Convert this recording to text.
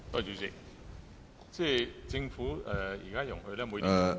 主席，政府現時容許......